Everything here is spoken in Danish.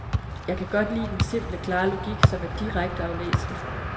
Jeg kan godt lide den simple, klare logik, som er direkte aflæselig.